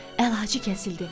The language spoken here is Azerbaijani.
Əlacı kəsildi.